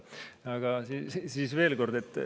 Aga siis veel kord.